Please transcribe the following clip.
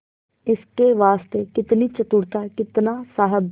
इसके वास्ते कितनी चतुरता कितना साहब